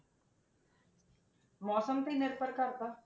ਮੌਸਮ ਤੇ ਹੀ ਨਿਰਭਰ ਕਰਦਾ।